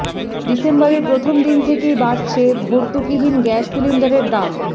ডিসেম্বরের প্রথম দিন থেকেই বাড়ছে ভরতুকিহীন গ্যাস সিলিন্ডারের দাম